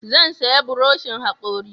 Zan saya buroshin hakori